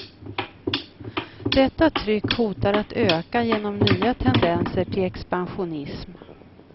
Detta tryck hotar att öka genom nya tendenser till expansionism.